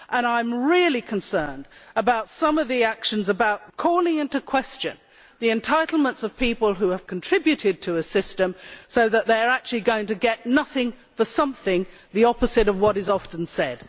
And I am really concerned about some of the actions calling into question the entitlements of people who have contributed to a system, so that they are actually going to get nothing for something the opposite of what is often said.